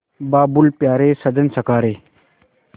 बाबुल प्यारे सजन सखा रे